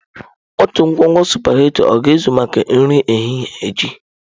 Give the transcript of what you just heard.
Otu ngwugwu sụpaghetị ọ ga-ezu maka nri ehihie echi?